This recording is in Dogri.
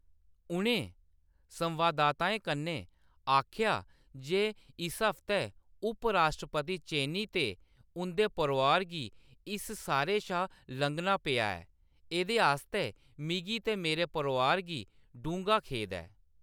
उʼनें संवाददाताएं कन्नै आखेआ जे इस हफ्तै उपराष्ट्रपति चेनी ते उंʼदे परोआर गी इस सारे शा लंघना पेआ ऐ, एह्‌‌‌दे आस्तै मिगी ते मेरे परोआर गी डूंह्‌गा खेद ऐ।